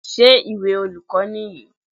Ṣé ìwé olùkọ́ nìyí?